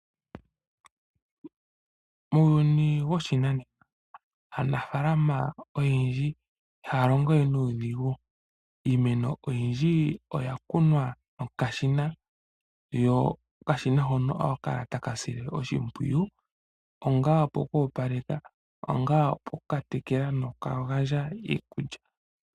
Muuyuni woshinanena, aanafaalama oyendji ihaya longo we nuudhigu. Iimeno oyindji oya kunwa nokashina, ko okashina hoka ohaka kala taka sile oshimpyiyu, ongele ano oku opaleka nenge okutekela noku gandja iikulya.